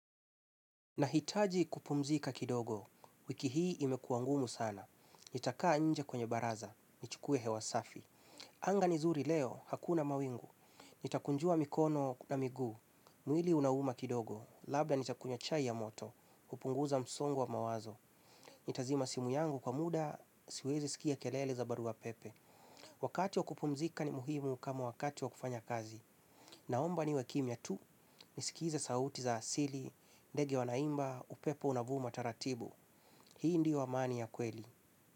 Nahitaji kupumzika kidogo, wiki hii imekua ngumu sana. Nitakaa nje kwenye baraza, nichukue hewa safi. Anga ni zuri leo, hakuna mawingu. Nitakunjua mikono na miguu, mwili unauma kidogo. Labda nitakunywa chai ya moto, hupunguza msongo wa mawazo. Nitazima simu yangu kwa muda, siwezi sikia kelele za barua pepe. Wakati wa kupumzika ni muhimu kama wakati wa kufanya kazi. Naomba niwe kimya tu, nisikiza sauti za asili, ndege wanaimba, upepo unavuma taratibu. Hii ndio amani ya kweli.